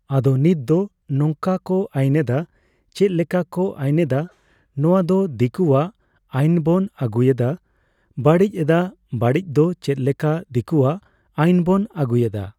ᱟᱫᱚ ᱱᱤᱛ ᱫᱚ ᱱᱚᱝᱠᱟ ᱠᱚ ᱟᱹᱭᱤᱱᱮᱫᱟ ᱾ᱪᱮᱫ ᱞᱮᱠᱟ ᱠᱚ ᱟᱹᱭᱤᱱᱮᱫᱟ ᱱᱚᱣᱟ ᱫᱚ ᱫᱤᱠᱩᱭᱟᱜ ᱟᱹᱭᱤᱱ ᱵᱚᱱ ᱟᱹᱜᱩᱭᱮᱫᱟ ᱾ᱵᱟᱹᱲᱤᱡ ᱮᱫᱟ ᱵᱟᱹᱲᱤᱡ ᱫᱚ ᱪᱮᱫ ᱞᱮᱠᱟ ᱫᱤᱠᱩᱭᱟᱜ ᱟᱹᱭᱤᱱ ᱵᱚᱱ ᱟᱜᱩᱭᱮᱫᱟ